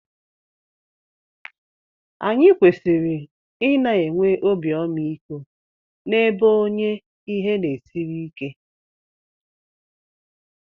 Anyị kwesịrị ị na-enwe obi ọmaiko n'ebe onye ihe na-esiri ike